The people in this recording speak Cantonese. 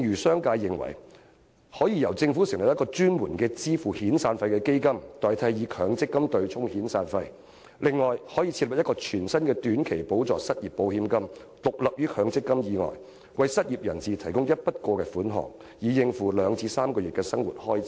商界認為，政府可成立一個專門支付遣散費的基金，代替以強積金對沖遣散費的安排，亦可設立全新的短期補助失業保險金，獨立於強積金制度以外，為失業人士提供一筆過款項，以應付2個月至3個月的生活開支。